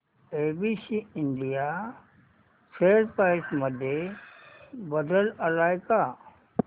ABC India share price मध्ये बदल आलाय का